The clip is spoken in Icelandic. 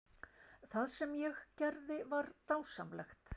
Það sem ég gerði var dásamlegt.